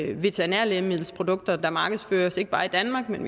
de veterinære lægemiddelprodukter der markedsføres ikke bare i danmark men